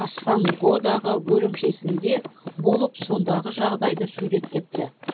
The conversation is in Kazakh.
кассангодағы бөлімшесінде болып сондағы жағдайды суреттепті